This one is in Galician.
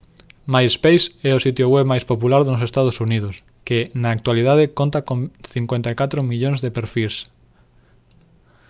myspace é o sitio web máis popular nos ee uu que na actualidade conta con 54 millóns de perfís